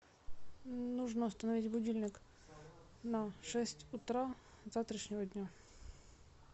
нужно установить будильник на шесть утра завтрашнего дня